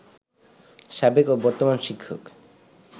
সাবেক ও বর্তমান শিক্ষক